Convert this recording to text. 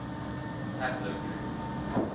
haplogroup